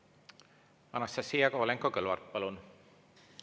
Anastassia Kovalenko-Kõlvart, palun!